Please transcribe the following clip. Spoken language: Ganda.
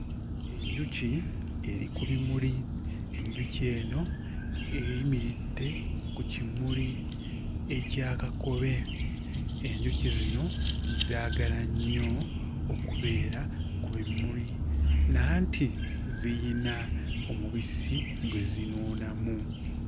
Enjuki eri ku bimuli, enjuki eno eyimiridde ku kimuli ekya kakobe, enjuki zino zaagala nnyo okubeera ku bimuli nanti ziyina omubisi gwe zinuunamu.